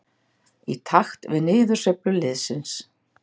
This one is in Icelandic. Í takt við niðursveiflu liðsins.